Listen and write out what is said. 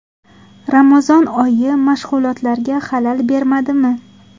Ramazon oyi mashg‘ulotlarga xalal bermadimi?